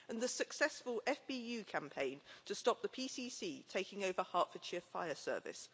and the successful FBU campaign to stop the PCC taking over Hertfordshire fire service